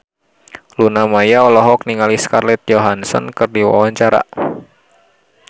Luna Maya olohok ningali Scarlett Johansson keur diwawancara